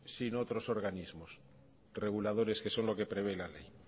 sino otros organismos reguladores que son lo que prevé la ley